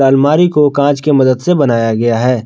आलमारी को कांच के मदद से बनाया गया है।